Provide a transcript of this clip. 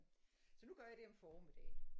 Så nu gør jeg det om formiddagen